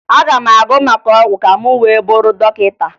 Aga m agụ maka ọgwụ ka m wee bụrụ dọkịta